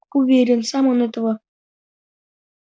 уверен сам он этого